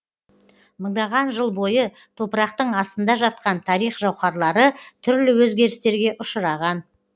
мыңдаған жыл бойы топырақтың астында жатқан тарих жауһарлары түрлі өзгерістерге ұшыраған